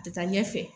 A tɛ taa ɲɛfɛ